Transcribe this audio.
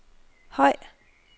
høj